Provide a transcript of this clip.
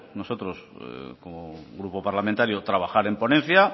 nosotros como grupo parlamentario trabajar en ponencia